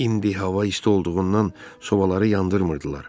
İndi hava isti olduğundan sobaları yandırmırdılar.